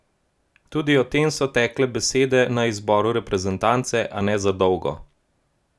Tudi o tem so tekle besede na zboru reprezentance, a ne za dolgo.